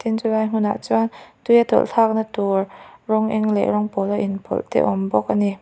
chulai hmunah chuan tuia tawlh thlak na tur rawng eng leh rawng pawl a inpawlh te a awm bawka ani.